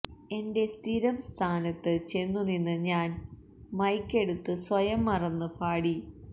എന്റെ സ്ഥിരം സ്ഥാനത്ത് ചെന്നുനിന്ന് ഞാൻ മൈക്കെടുത്ത് സ്വയം മറന്ന് പാടി